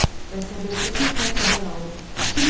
Və səbirsizliklə xəbər aldı: Kimin başı idi?